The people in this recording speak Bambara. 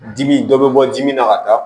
Dimi dɔ bɛ bɔ dimi na ka taa